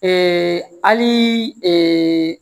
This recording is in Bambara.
hali